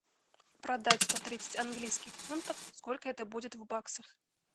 продать сто тридцать английских фунтов сколько это будет в баксах